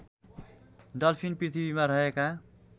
dolphin पृथ्वीमा रहेका